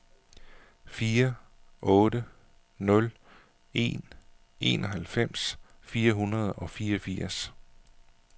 fire otte nul en enoghalvfems fire hundrede og fireogfirs